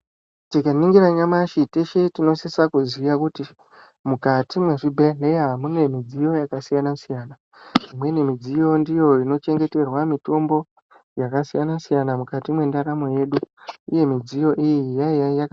Tikaningira nyamashi teshe tinosisa kuziya kuti mukati mwezvibhedhlera mune midziyo yakasiyana siyana imweni midziyo ndiyo inochengeterwa mitombo yakasiyana siyana mukati mwendaramo yedu uye midziyo iyi yaiya yaka.